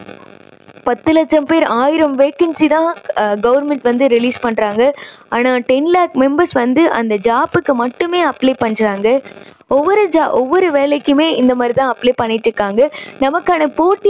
பத்து லட்சம் பேர். ஆயிரம் vacancy தான் government வந்து release பண்றாங்க. ஆனா ten lakh members வந்து அந்த job க்கு மட்டுமே apply பண்றாங்க. ஒவ்வொரு ஜா~வேலைக்குமே இந்த மாதிரி தான் apply பண்ணிட்டுருக்காங்க. நமக்கான போட்டி